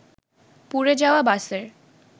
পুড়ে যাওয়া বাসের